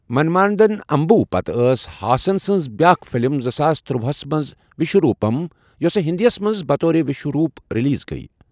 منمادن اَمبو پتہٕ ٲس ہاسن سٕنز بیاکھ فِلم زٕ ساس تُرٛواہس منز وِشو رُوٗپم ، یۄسہ ہِندی یس منز بطور وِشوروُپ رِلیز گٔیۍ ۔